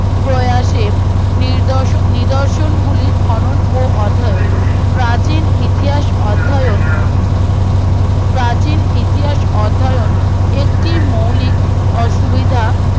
প্রয়াসের নিরদর্শন নির্দর্শনগুলির খনন ও অধ্যায়ন প্রাচীন ইতিহাস অধ্যায়ন প্রাচীন ইতিহাস অধ্যায়ন একটি মৌলিক অসু সুবিধা